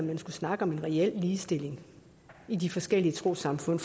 man skulle snakke om en reel ligestilling i de forskellige trossamfund